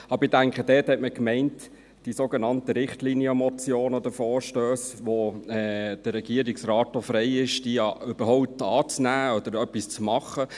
Ich denke, damit hat man die sogenannten Richtlinienmotionen oder -vorstösse gemeint, bei welchen der Regierungsrat auch frei ist, diese überhaupt anzunehmen oder etwas zu tun.